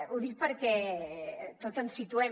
ho dic perquè tots ens situem